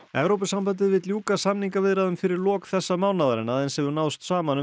Evrópusambandið vill ljúka samningaviðræðum fyrir lok þessa mánaðar en aðeins hefur náðst saman um